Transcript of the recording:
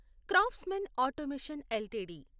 craftsman automation LTD